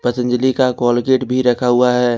पतंजलि का कॉलगेट भी रखा हुआ हैं।